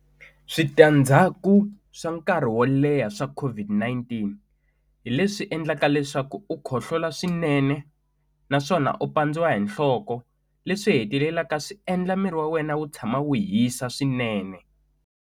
Switandzhaku swa nkarhi wo leha swa COVID-19 hi leswi endlaka leswaku u khohlola swinene naswona u pandziwa hi nhloko leswi hetelelaka swi endla miri wa wena wu tshama wu hisa swinene.